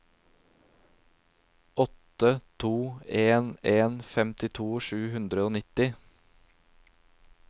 åtte to en en femtito sju hundre og nitti